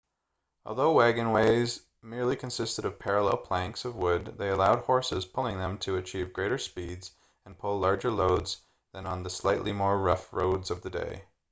although wagonways merely consisted of parallel planks of wood they allowed horses pulling them to achieve greater speeds and pull larger loads than on the slightly more rough roads of the day